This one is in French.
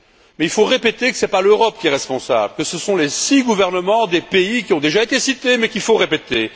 Mais il faut répéter que ce n'est pas l'Europe qui est responsable, que ce sont les six gouvernements des pays qui ont déjà été cités, mais qu'il faut répéter.